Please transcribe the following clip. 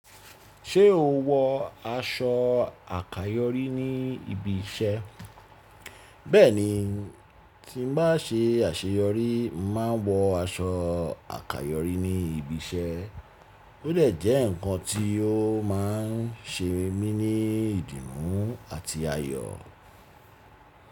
Ṣé o wọ aṣọ àkayòrí ní ibi iṣẹ́? Bẹ́ẹ̀ni, tí mo bá se àṣeyọrí, màá wọ aṣọ àkayòrí ní ibi iṣẹ́. Ó de jẹ́ ǹkan tí ó má ń ṣe mí ní ìdìmú àti ayọ̀.